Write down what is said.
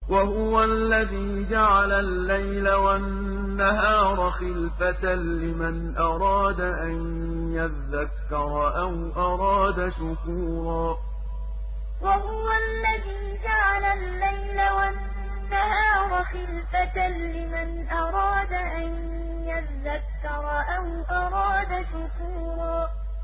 وَهُوَ الَّذِي جَعَلَ اللَّيْلَ وَالنَّهَارَ خِلْفَةً لِّمَنْ أَرَادَ أَن يَذَّكَّرَ أَوْ أَرَادَ شُكُورًا وَهُوَ الَّذِي جَعَلَ اللَّيْلَ وَالنَّهَارَ خِلْفَةً لِّمَنْ أَرَادَ أَن يَذَّكَّرَ أَوْ أَرَادَ شُكُورًا